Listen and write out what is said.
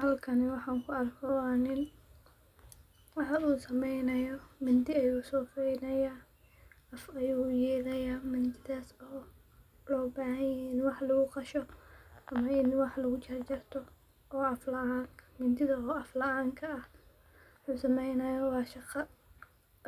Halkani waxan kuarko wa nin, wuxuu sameynayo mindi ayuu soofeynaya aaf ayuu u yelaya mindidhas oo loo bahan yahay in wax lagu qasho ama in wax lagu jarjarto mindidha oo af laanka aah. Muxuu sameynaya wa shaqaa